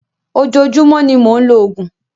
ojoojúmọ́ ní mọ ń ló oògùn.